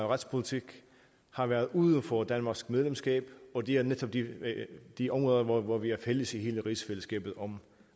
retspolitik har været uden for danmarks medlemskab og det er netop de områder hvor vi er fælles i hele rigsfællesskabet